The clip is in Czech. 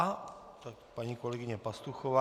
Tak paní kolegyně Pastuchová.